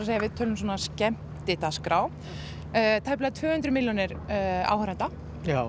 ef við tölum um svona skemmtidagskrá tæplega tvö hundruð milljónir áhorfenda já